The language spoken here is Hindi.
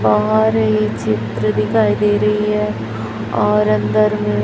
बाहर ये चित्र दिखाई दे रही है और अंदर में --